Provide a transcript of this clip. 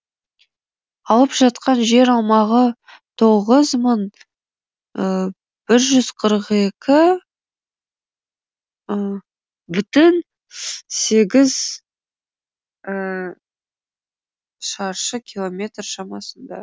алып жатқан жер аумағы тоғыз мың бір жүз қырық екі бүтін сегіз шаршы километр шамасында